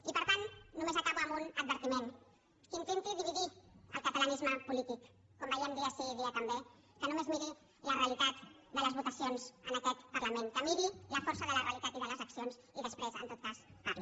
i per tant només acabo amb un advertiment qui intenti dividir el catalanisme polític com veiem dia sí i dia també que només miri la realitat de les votacions en aquest parlament que miri la força de la realitat i de les accions i després en tot cas que parli